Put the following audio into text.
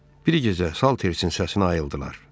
Bir gecə Salters-in səsinə ayıldılar.